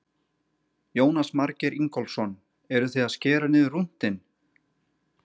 Jónas Margeir Ingólfsson: Eruð þið að skera niður rúntinn?